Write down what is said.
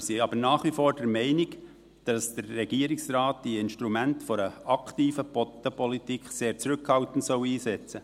Wir sind aber nach wie vor der Meinung, dass der Regierungsrat die Instrumente einer aktiven Bodenpolitik sehr zurückhaltend einsetzen soll.